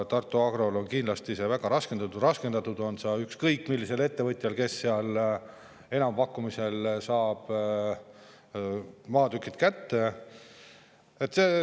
Tartu Agrol on see kindlasti väga raskendatud, raskendatud on see ükskõik millisel ettevõtjal, kes seal enampakkumisel maatükid kätte saab.